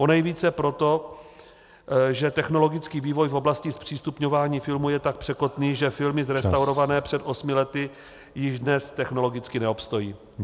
Ponejvíce proto, že technologický vývoj v oblasti zpřístupňování filmů je tak překotný, že filmy zrestaurované před osmi lety již dnes technologicky neobstojí.